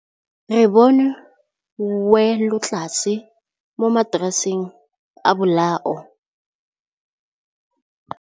Re bone wêlôtlasê mo mataraseng a bolaô.